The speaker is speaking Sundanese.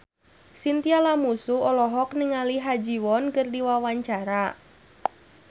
Chintya Lamusu olohok ningali Ha Ji Won keur diwawancara